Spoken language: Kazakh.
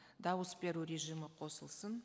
дауыс беру режимі қосылсын